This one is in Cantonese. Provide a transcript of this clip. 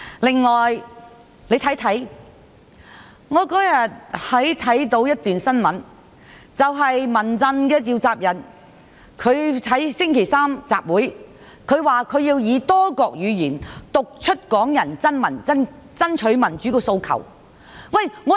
此外，我有一天看到一則新聞，指民陣召集人提出星期三舉行集會，他說要以多國語言讀出港人爭取民主的訴求。